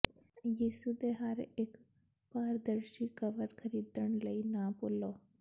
ਯਿਸੂ ਦੇ ਹਰ ਇੱਕ ਪਾਰਦਰਸ਼ੀ ਕਵਰ ਖਰੀਦਣ ਲਈ ਨਾ ਭੁੱਲੋ